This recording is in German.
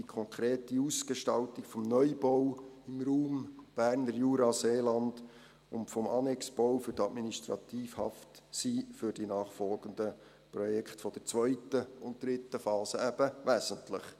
Die konkrete Ausgestaltung des Neubaus im Raum Berner Jura-Seeland und des Annexbaus für die Administrativhaft sind für die nachfolgenden Projekte der zweiten und dritten Phase eben wesentlich.